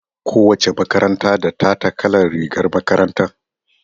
Ko wace makaranta da tata kalar rigar makaranta.